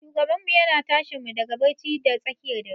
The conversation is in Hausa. Shugabanmu yana tashinmu daga bacci da tsakiyar dare.